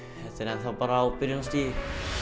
enn þá bara á byrjunarstigi